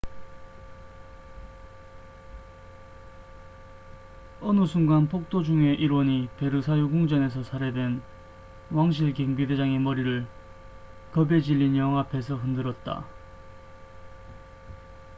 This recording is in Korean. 어느 순간 폭도 중의 일원이 베르사유궁전에서 살해된 왕실 경비대장의 머리를 겁에 질린 여왕 앞에서 흔들었다